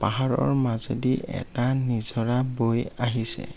পাহাৰৰ মাজেদি এটা নিজৰা বৈ আহিছে।